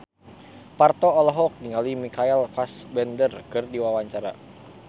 Parto olohok ningali Michael Fassbender keur diwawancara